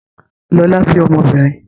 Lọlá bí ọmọbìnrin.